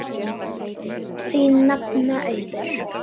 Þín nafna, Auður.